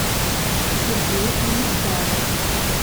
сергей анистаров